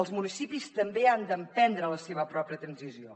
els municipis també han d’emprendre la seva pròpia transició